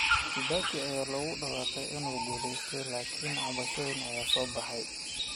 Kibaki ayaa lagu dhawaaqay inuu guulaystay, laakiin cabashooyin ayaa soo baxay.